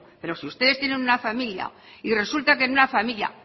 pero si ustedes tienen una familia y resulta que en una familia